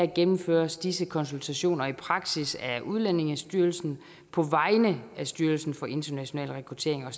gennemføres disse konsultationer i praksis af udlændingestyrelsen på vegne af styrelsen for international rekruttering og